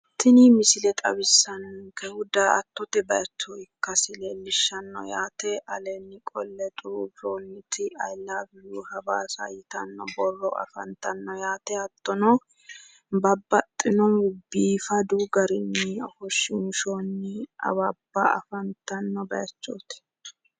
tini misile xawissannonkehu daa''attote base ikasiiti yaate aleenni qolle xuruurroonniti ayi lawi yu hawaasa borro afantanno yaate hattono babbaxino biifadu garinni ofoshshiinshoonni awabba afantanno bayiichooti.